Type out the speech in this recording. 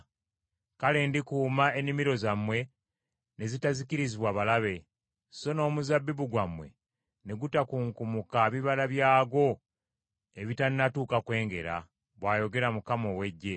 Kale ndikuuma ennimiro zammwe ne zitazikirizibwa balabe; so n’omuzabbibu gwammwe ne gutakunkumula bibala byagwo ebitannatuuka kwengera,” bw’ayogera Mukama ow’Eggye.